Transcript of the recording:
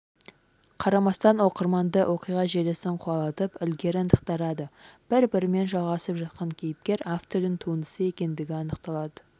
қарамастан оқырманды оқиға желісін қуалатып ілгері ынтықтырады бір-бірімен жалғасып жатқан кейіпкер-автордың туындысы екендігі анықталады